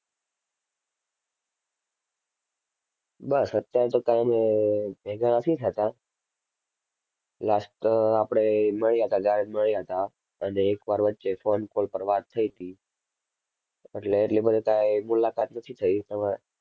બસ અત્યારે તો કાંઈ અમે ભેગા નથી થતાં, last આપણે મળ્યા હતા ત્યારે જ મળ્યા હતા અને એક વાર વચ્ચે phone call પર વાત થઈ હતી. એટલે એટલી બધી કાંઈ મુલાકાત નથી થઈ તમ~